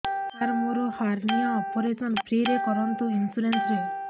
ସାର ମୋର hernia operation free ରେ କରନ୍ତୁ ଇନ୍ସୁରେନ୍ସ ରେ